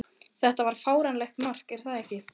Þetta var fáránlegt mark, er það ekki?